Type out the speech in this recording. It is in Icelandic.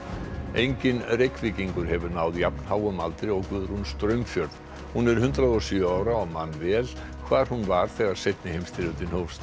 enginn Reykvíkingur hefur náð jafn háum aldri og Guðrún Straumfjörð hún er hundrað og sjö ára og man vel hvar hún var þegar seinni heimsstyrjöldin hófst